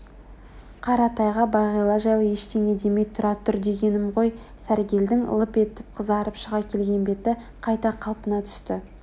қаратайга бағила жайлы ештеңе демей тұра тұр дегенім ғой сәргелдің лып етіп қызарып шыға келген беті қайта қалпына түсті